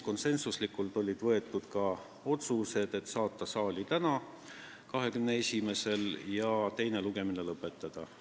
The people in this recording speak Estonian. Konsensuslikult olid vastu võetud ka otsused, et saata eelnõu saali tänaseks, 21. märtsiks ja teine lugemine lõpetada.